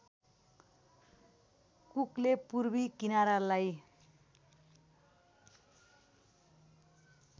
कुकले पूर्वी किनारालाई